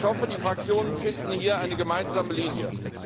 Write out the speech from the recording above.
Und ich hoffe, die Fraktionen finden hier eine gemeinsame Linie.